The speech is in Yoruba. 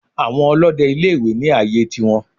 Àwọn Olóde ilé ìwé ní àyè tiwọn